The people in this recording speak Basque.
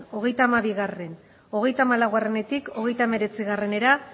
hogeita hamabi hogeita hamalautik hogeita hemeretzira